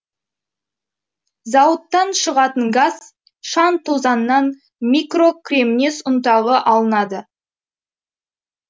зауыттан шығатын газ шаң тозаңнан микрокремнез ұнтағы алынады